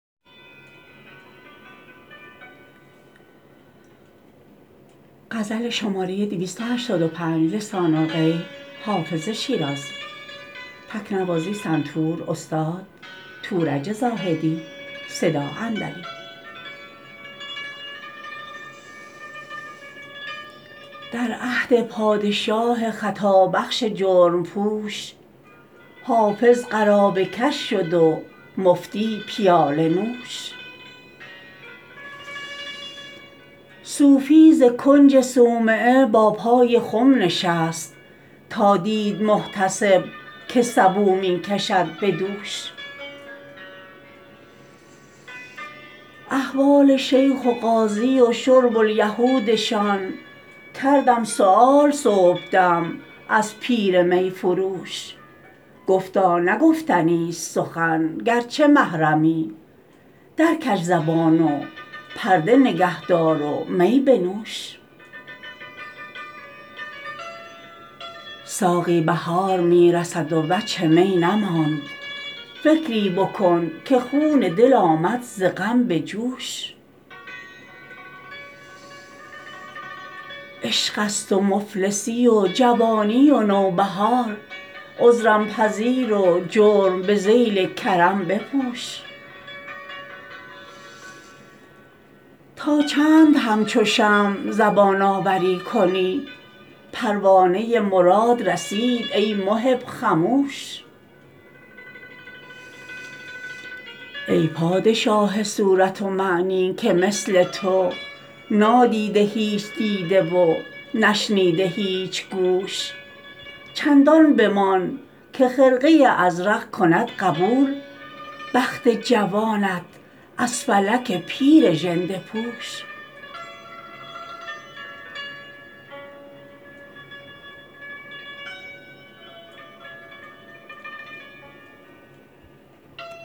در عهد پادشاه خطابخش جرم پوش حافظ قرابه کش شد و مفتی پیاله نوش صوفی ز کنج صومعه با پای خم نشست تا دید محتسب که سبو می کشد به دوش احوال شیخ و قاضی و شرب الیهودشان کردم سؤال صبحدم از پیر می فروش گفتا نه گفتنیست سخن گرچه محرمی درکش زبان و پرده نگه دار و می بنوش ساقی بهار می رسد و وجه می نماند فکری بکن که خون دل آمد ز غم به جوش عشق است و مفلسی و جوانی و نوبهار عذرم پذیر و جرم به ذیل کرم بپوش تا چند همچو شمع زبان آوری کنی پروانه مراد رسید ای محب خموش ای پادشاه صورت و معنی که مثل تو نادیده هیچ دیده و نشنیده هیچ گوش چندان بمان که خرقه ازرق کند قبول بخت جوانت از فلک پیر ژنده پوش